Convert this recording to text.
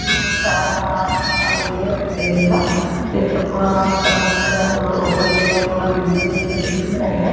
ही एक कार आलेलीये रेंपारींग ला त्याच समोरच डोर पूर्ण ओपेन केल पूर्ण इंजिन इथे दिसून राहिलाय.